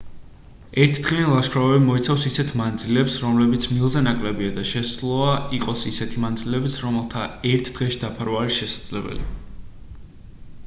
ერთდღიანი ლაშქრობები მოიცავს ისეთ მანძილებს რომლებიც მილზე ნაკლებია და შესაძლოა იყოს ისეთი მანძილებიც რომელთა ერთ დღეში დაფარვა არის შესაძლებელი